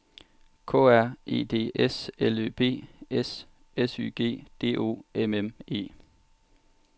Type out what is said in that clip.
K R E D S L Ø B S S Y G D O M M E